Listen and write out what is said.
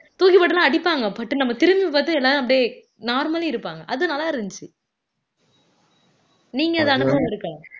தூக்கி போட்டுலாம் அடிப்பாங்க பட்டுனு நம்ம திரும்பிப் பார்த்து எல்லாரும் அப்படியே normally இருப்பாங்க அது நல்லா இருந்துச்சு நீங்க அத அனுபவம் இருக்கா